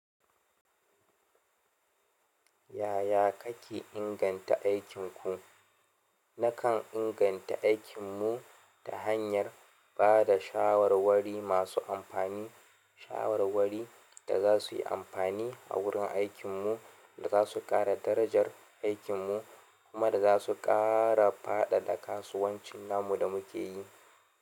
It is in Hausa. Yaya kake inganta aikinku? Nakan inganta aikinmu ta hanyar ba da shawarwari masu amfani, shawarwari da za su yi amfani a wurin aikinmu, da za su ƙara darajar aikinmu, kuma da za su ƙara faɗaɗa kasuwancin namu da muke yi.